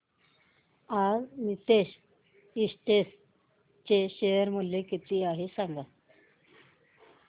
आज नीतेश एस्टेट्स चे शेअर मूल्य किती आहे सांगा